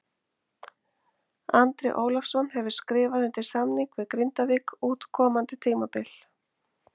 Andri Ólafsson hefur skrifað undir samning við Grindavík út komandi tímabil.